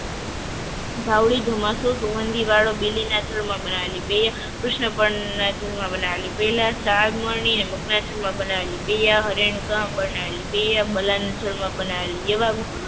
વાવડી ચોમાસુ સુગંધી વાળો બીલીના જળમાં બનાવેલી કૃષ્ણ પણ બનાવેલી પહેલા સાગરની અને બનાવેલી